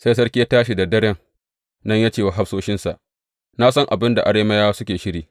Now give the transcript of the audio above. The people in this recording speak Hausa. Sai sarki ya tashi da daren nan ya ce wa hafsoshinsa, Na san abin da Arameyawan suke shiri!